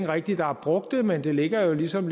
rigtig har brugt det men det ligger jo ligesom